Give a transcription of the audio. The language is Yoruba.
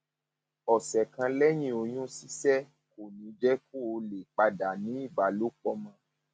ọsẹ kan lẹyìn oyún ṣíṣẹ kò ní jẹ kó o lè padà ní ìbálòpọ mọ